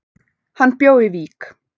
Hann bjó í Vík.